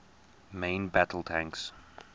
main battle tanks